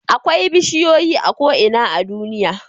Akwai bishiyoyi a ko'ina a duniya